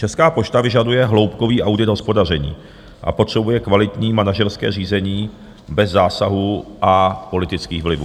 Česká pošta vyžaduje hloubkový audit hospodaření a potřebuje kvalitní manažerské řízení bez zásahů a politických vlivů.